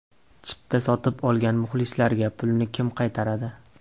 Chipta sotib olgan muxlislarga pulni kim qaytaradi?